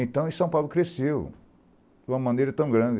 Então, em São Paulo cresceu de uma maneira tão grande.